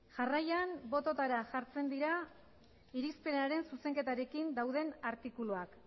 jarraian bototara jartzen dira irizpenaren zuzenketarekin dauden artikuluak